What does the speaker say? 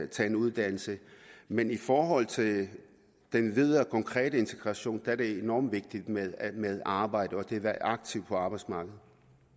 tage en uddannelse men i forhold til den videre konkrete integration er det enormt vigtigt med arbejde og det at være aktiv på arbejdsmarkedet